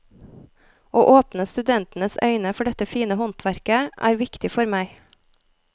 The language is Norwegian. Å åpne studentenes øyne for dette fine håndverket, er viktig for meg.